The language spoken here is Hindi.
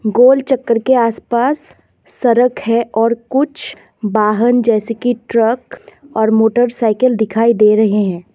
गोल चक्कर के आसपास सड़क है और कुछ वाहन जैसे कि ट्रक और मोटरसाइकिल दिखाई दे रहे हैं।